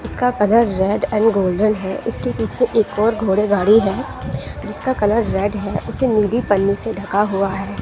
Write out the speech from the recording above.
इसका colour red and golden है इसकी पीछे एक और घोड़े गाड़ी है जिसका कलर रेड है उसे नीली पन्नी से ढका हुआ है।